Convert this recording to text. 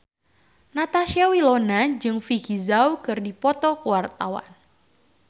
Natasha Wilona jeung Vicki Zao keur dipoto ku wartawan